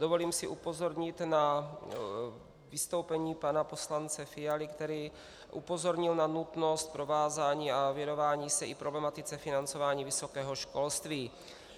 Dovolím si upozornit na vystoupení pana poslance Fialy, který upozornil na nutnost provázání a věnování se i problematice financování vysokého školství.